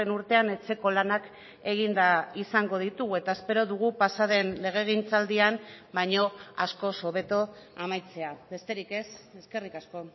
urtean etxeko lanak eginda izango ditugu eta espero dugu pasaden legegintzaldian baino askoz hobeto amaitzea besterik ez eskerrik asko